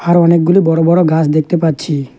আরও অনেকগুলো বড় বড় গাস দেখতে পাচ্ছি।